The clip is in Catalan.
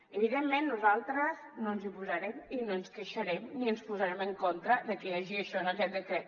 evidentment nosaltres no ens hi posarem i no ens queixarem ni ens posarem en contra de que hi hagi això en aquest decret